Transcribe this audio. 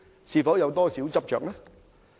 是否有點執着？